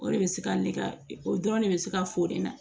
O de bɛ se ka nege o dɔrɔn ne bɛ se ka fo ne na